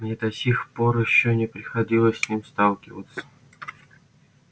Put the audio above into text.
мне до сих пор ещё не приходилось с ним сталкиваться